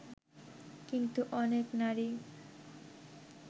কিন্তু অনেক নারী